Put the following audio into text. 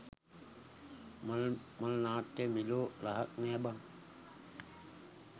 මල් මල් නාට්‍ය මෙලෝ රහක් නෑ බන්